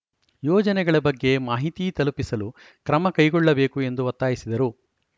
ಯೋಜನೆಗಳ ಬಗ್ಗೆ ಮಾಹಿತಿ ತಲುಪಿಸಲು ಕ್ರಮ ಕೈಗೊಳ್ಳಬೇಕು ಎಂದು ಒತ್ತಾಯಿಸಿದರು